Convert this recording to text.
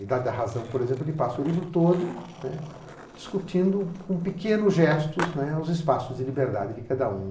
Idade da Razão, por exemplo, ele passa o livro todo, né, discutindo, com pequenos gestos, né, os espaços de liberdade de cada um.